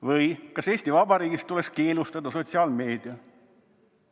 Või: "Kas Eesti Vabariigis tuleks keelustada sotsiaalmeedia?